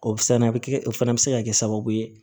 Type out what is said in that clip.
O bi se ka na o bi kɛ o fana be se ka kɛ sababu ye